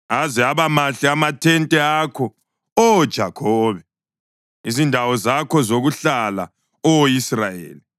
Aze aba mahle amathente akho, Oh Jakhobe, izindawo zakho zokuhlala, Oh Israyeli!